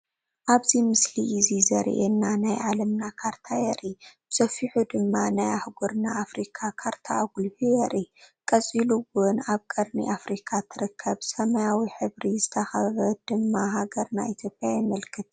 ኣብዚ ምስሊ እዚ ዘሪኤና ናይ ዓለምና ካርታ የርኢ፡፡ ብሰፊሑ ድማ ናይ ሃህጉረ ኣፍሪካ ካርታ ኣጉሊሁ የርኢ፡፡ ቀፂሉ ውን ኣብ ቀርኒ ኣፍሪካ ትርከብ ሰማያዊ ሕብሪ ዝተኸበበት ድማ ሃገርና ኢትዮጵያ የመልክት፡፡